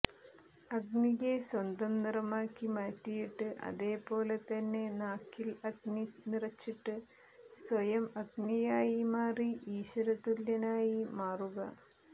അഗ്നിയെ സ്വന്തം നിറമാക്കി മാറ്റിയിട്ട് അതേപോലെ തന്നെ നാക്കിൽ അഗ്നി നിറച്ചിട്ട് സ്വയം അഗ്നിയായി മാറി ഈശ്വരതുല്യനായി മാറുക